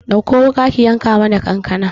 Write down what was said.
Ɗakko wuƙa ki yanka mana kankana